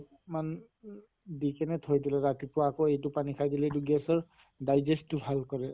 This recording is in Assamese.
মানে ও দি কিনে থৈ দিলে ৰাতিপুৱা আকৌ এইটো পানী খাই দিলে gas ৰ digest টো ভাল কৰে।